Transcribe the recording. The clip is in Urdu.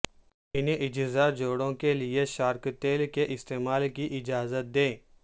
ان اجزاء جوڑوں کے لئے شارک تیل کے استعمال کی اجازت دے